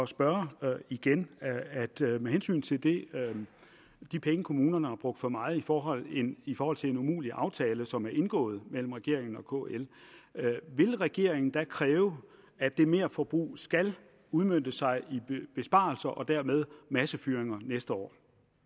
spørge igen med hensyn til de penge kommunerne har brugt for meget i forhold i forhold til en umulig aftale som er indgået mellem regeringen og kl vil regeringen kræve at det merforbrug skal udmønte sig i besparelser og dermed massefyringer næste år